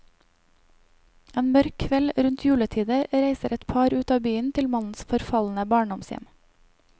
En mørk kveld rundt juletider reiser et par ut av byen til mannens forfalne barndomshjem.